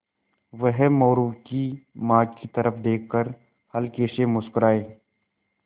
वह मोरू की माँ की तरफ़ देख कर हल्के से मुस्कराये